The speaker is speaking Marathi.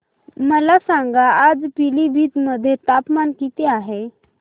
मला सांगा आज पिलीभीत मध्ये तापमान किती आहे